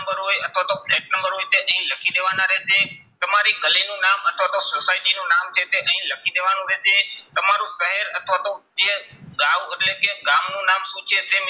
Number હોય અથવા તો ફ્લેટ નંબર હોય તો અહીં લખી દેવાના રહેશે. તમારી ગલીનું નામ અથવા તો society નું નામ છે તે અહીં લખી દેવાનું રહેશે. તમારું શહેર અથવા તો જે ગાંવ એટલે કે ગામનું નામ શું છે તે